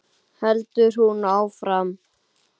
heldur hún áfram.